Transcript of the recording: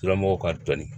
Lamɔgɔ ka tɔni